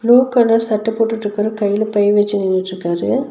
Blue colour சட்ட போட்டுட்ருக்கற கையில பை வச்சி நின்னுட்ருக்காரு.